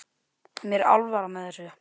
Mér er alvara með þessu.